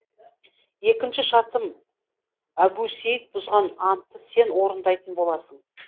екінші шартым әбусейіт бұзған антты сен орындайтын боласың